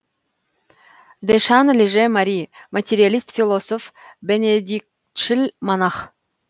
дешан леже мари материалист философ бенедиктшіл монах